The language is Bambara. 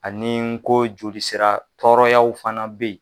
Ani n ko joli sira tɔɔrɔyaw fana be yen